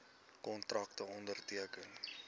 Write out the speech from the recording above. kontrakte onderteken